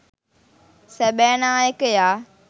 සැබෑ නායකයා